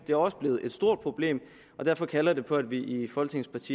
det er også blevet et stort problem og derfor kalder det på at vi i folketingets